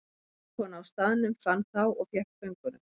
Vinnukona á staðnum fann þá og fékk föngunum.